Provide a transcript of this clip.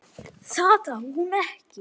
Þú hefur lognast út af!